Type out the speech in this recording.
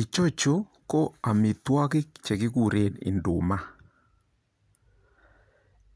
Icho chu ko amitwokik chekikure induma